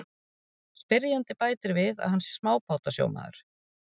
Spyrjandi bætir við að hann sé smábátasjómaður.